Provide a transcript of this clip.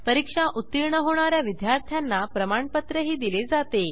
परीक्षा उत्तीर्ण होणा या विद्यार्थ्यांना प्रमाणपत्रही दिले जाते